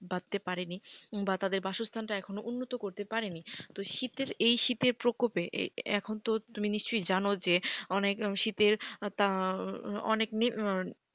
বাধতে পারেনি বা তাদের বাসস্থান টা এখনো উন্নত করতে পারেনি তো শীতের এই শীতের প্রকোপে এখন তো তুমি নিশ্চয়ই জানো যে অনেক শীতের তা অনেক,